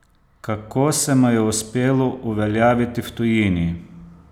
Kako se mu je uspelo uveljaviti v tujini?